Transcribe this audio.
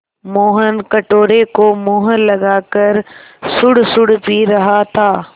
मोहन कटोरे को मुँह लगाकर सुड़सुड़ पी रहा था